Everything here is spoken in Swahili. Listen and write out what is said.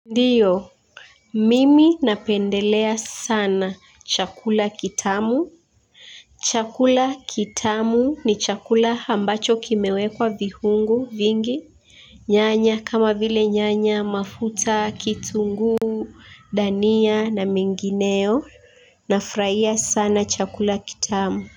Ndiyo mimi napendelea sana chakula kitamu chakula kitamu ni chakula ambacho kimewekwa vihungu vingi nyanya kama vile nyanya mafuta kitunguu dania na mingineo. Nafurahia sana chakula kitamu.